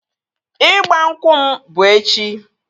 Ịgba nkwụ m bụ echi